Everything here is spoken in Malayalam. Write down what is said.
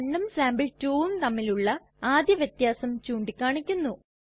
sample1ഉം sample2ഉം തമ്മിലുള്ള ആദ്യ വ്യത്യാസം ചൂണ്ടിക്കാണിക്കുന്നു